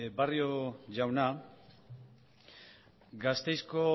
barrio jauna gasteizko